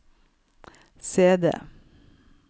CD